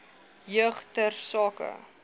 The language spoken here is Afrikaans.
jeug ter sake